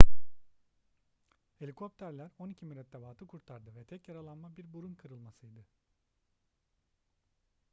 helikopterler on iki mürettebatı kurtardı ve tek yaralanma bir burun kırılmasıydı